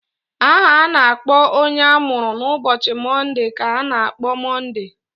Aha a na-akpọ onye amụrụ n'ụbọchị Monde ka a na-akpọ Monde.